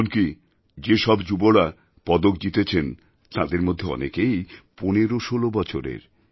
এমনকি যেসব যুবরা পদক জিতেছেন তাঁদের মধ্যে অনেকেই ১৫১৬ বছরের